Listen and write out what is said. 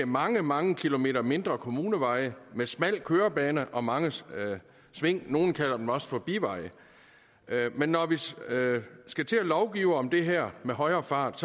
mange mange kilometer mindre kommuneveje med smal kørebane og mange sving nogle kalder dem også for biveje men når vi skal til at lovgive om det her med højere fart